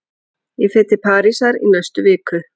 Ég fer til Parísar í næstu viku.